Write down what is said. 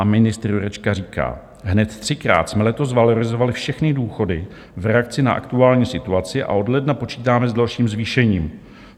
A ministr Jurečka říká: Hned třikrát jsme letos valorizovali všechny důchody v reakci na aktuální situaci a od ledna počítáme s dalším zvýšením.